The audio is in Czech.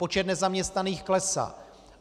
Počet nezaměstnaných klesá.